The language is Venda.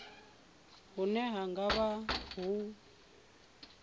hune hu nga vha ho